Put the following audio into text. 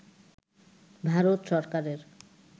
ভারত সরকারের